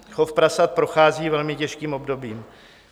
Chov prasat prochází velmi těžkým obdobím.